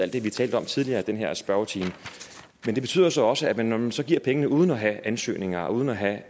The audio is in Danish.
det vi talte om tidligere i den her spørgetime men det betyder så også at når man så giver pengene uden at have ansøgninger og uden at have